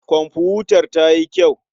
Komfutar ta yi kyau.